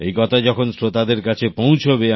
এই কথা যখন শ্রোতা দের কাছে পৌঁছবে